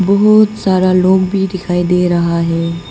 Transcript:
बहुत सारा लोग भी दिखाई दे रहा है।